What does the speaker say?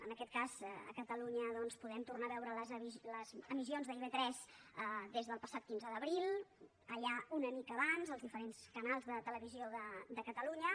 en aquest cas a catalunya doncs podem tornar a veure les emissions d’ib3 des del passat quinze d’abril allà una mica abans els diferents canals de televisió de catalunya